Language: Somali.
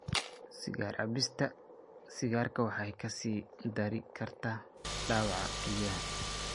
Sigaar cabista sigaarka waxay ka sii dari kartaa dhaawaca kelyaha.